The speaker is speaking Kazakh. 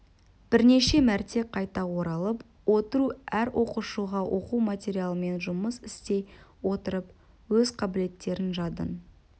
бірнеше мәрте қайта оралып отыру әр оқушыға оқу материалымен жұмыс істей отырып өз қабілеттерін жадын